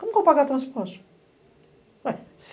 Como que eu vou pagar transporte?